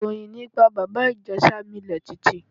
Ìròyìn nípa Bàbá Ìjẹ̀ṣà milẹ̀ tìtì.